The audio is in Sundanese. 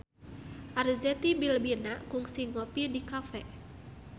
Arzetti Bilbina kungsi ngopi di cafe